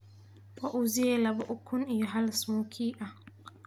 waa uzie laba ukun iyo hal smokie ahh